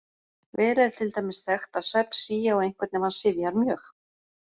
Vel er til dæmis þekkt að svefn sígi á einhvern ef hann syfjar mjög.